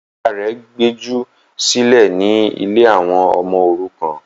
Ìyá rẹ̀ gbejù sílẹ̀ ní ” ilé àwọn ọmọ òrukàn”